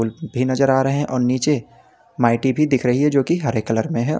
भी नजर आ रहे हैं और नीचे माइटी भी दिख रही है जो की हरे कलर में है।